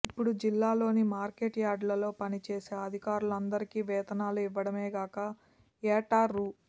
ఇప్పుడు జిల్లాల్లోని మార్కెట్ యార్డుల్లో పనిచేసే అధికారులందరికీ వేతనాలు ఇవ్వటమేగాక ఏటా రూ